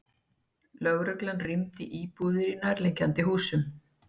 Lögreglan rýmdi íbúðir í nærliggjandi húsum